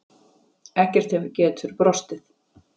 Ekkert getur brostið.